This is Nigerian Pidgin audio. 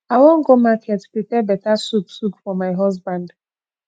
i wan go market prepare beta soup soup for my husband